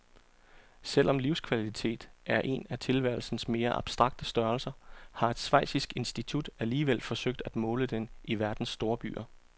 Selv om livskvalitet er en af tilværelsens mere abstrakte størrelser, har et schweizisk institut alligevel forsøgt at måle den i verdens storbyer.